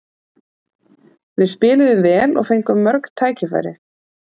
Við spiluðum vel og fengum mörg tækifæri.